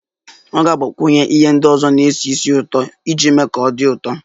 Ọ ga-agbakwunye ihe ndị ọzọ na-esi ísì ụtọ iji mee ka ọ dị ụtọ